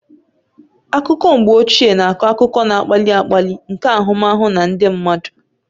Akụkọ mgbe ochie na-akọ akụkọ na-akpali akpali nke ahụmahụ na ndị mmadụ